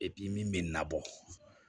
min bɛ na bɔ